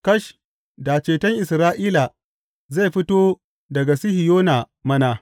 Kash, da ceton Isra’ila zai fito daga Sihiyona mana!